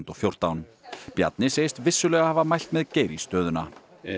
og fjórtán Bjarni segist vissulega hafa mælt með Geir í stöðuna